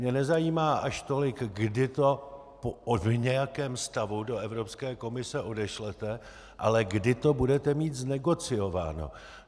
Mě nezajímá až tolik, kdy to v nějakém stavu do Evropské komise odešlete, ale kdy to budete mít znegociováno.